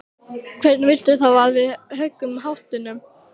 Hvernig viltu þá að við högum háttunum?